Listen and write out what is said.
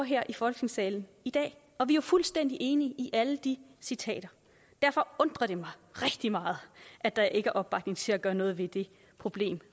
her i folketingssalen i dag og vi er fuldstændig enige i alle de citater derfor undrer det mig rigtig meget at der ikke er opbakning til at gøre noget ved det problem